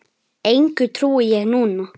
Engu trúi ég núna.